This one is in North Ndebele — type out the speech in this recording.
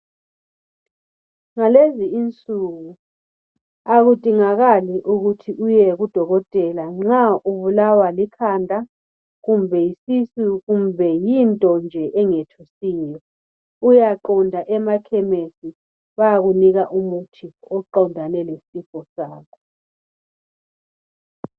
ngalezi insuku akudingakali ukuthi uyeku dokotela nxa ubulawa likhanda kumbe yisisu kumbe yinto nje engethusiyo uyaqonda emakhemesi bayakunika umuthi oqondane lesifo sakho